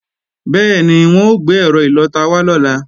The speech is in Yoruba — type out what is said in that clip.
Bẹ́ẹ̀ni, wọ́n ó gbé ẹ̀rọ ìlọta wá lọ́la